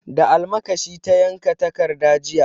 Da almakashi ta yanka takarda jiya.